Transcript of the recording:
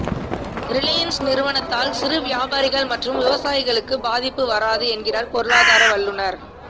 Reliance நிறுவனத்தால் சிறு வியாபாரிகள் மற்றும் விவசாயிகளுக்கு பாதிப்பு வராது என்கிறார் பொருளாதார வல்லுநர்